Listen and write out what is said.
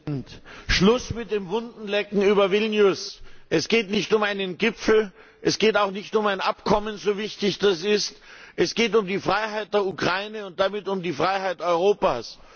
Herr Präsident! Schluss mit dem Wundenlecken über Vilnius! Es geht nicht um einen Gipfel, es geht auch nicht um ein Abkommen, so wichtig das auch ist, es geht um die Freiheit der Ukraine und damit um die Freiheit Europas!